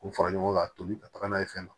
K'u fara ɲɔgɔn kan tobi ka taga n'a ye fɛn na